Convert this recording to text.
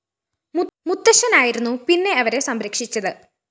മുത്തച്ഛനായിരുന്നു പിന്നെ അവരെ സംരക്ഷിച്ചത്